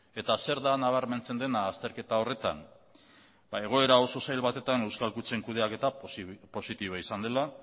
eta zertan nabarmentzen dena azterketa horretan egoera oso zail batetan euskal kutxen kudeaketak positiboa izan dela